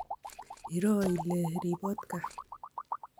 Iroo ile ribot kaa